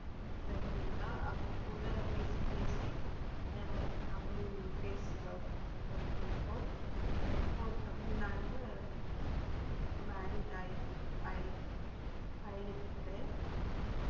my friend இருந்தா அவ கூட பேசி பேசி ஆஹ் எனக்கு தமிழ் பேச வருது இப்போ அஹ் இப்போ தமிழ்நாடுல married ஆயி ஆயி ஆயிருக்கிறேன்.